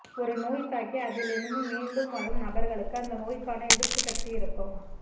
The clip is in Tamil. ஒரு நோய் தாக்கி அதில் இருந்து மீண்டும் வரும் நபர்களுக்கு அந்த நோய்க்கான எதிர்ப்பு சக்தி இருக்கும்